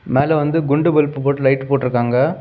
மேல வந்து குண்டு பல்ப்பு போட்டு லைட்டு போட்டுருக்காங்க.